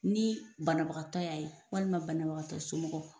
Ni banabagatɔ y'a ye, walima banabagatɔ somɔgɔw.